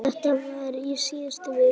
Þetta var í síðustu viku.